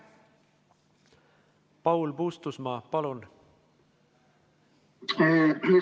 Paul Puustusmaa, palun!